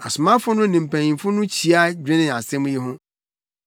Asomafo no ne mpanyimfo no hyia dwenee asɛm yi ho.